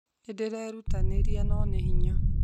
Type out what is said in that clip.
Nĩ ndĩrerutanĩria no nĩ hinya